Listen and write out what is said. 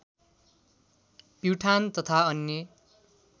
प्युठान तथा अन्य